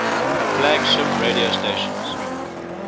flagship radio stations